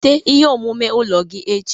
Weta ihe omume ụlọ gị echi